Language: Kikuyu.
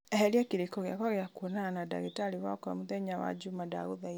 eheria kĩrĩko gĩakwa gĩa kwonana na ndagĩtarĩ wakwa mũthenya wa wa njuma ndagũthaitha